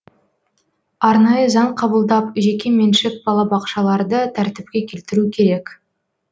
арнайы заң қабылдап жекеменшік балабақшаларды тәртіпке келтіру керек